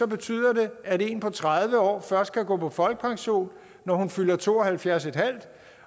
betyder det at en person på tredive år først kan gå på folkepension når hun fylder to og halvfjerds en halv